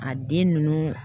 A den ninnu